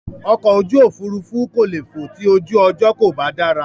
Ọkọ̀ ojú òfurufú kò le fò ti ojú ọjọ́ kò bá dára.